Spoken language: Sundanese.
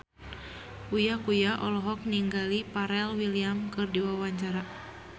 Uya Kuya olohok ningali Pharrell Williams keur diwawancara